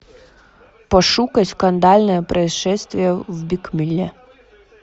пошукай скандальное происшествие в брикмилле